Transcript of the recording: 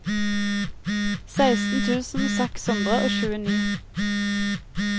seksten tusen seks hundre og tjueni